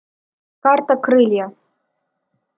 карта крылья